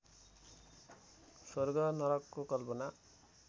स्वर्ग नरकको कल्पना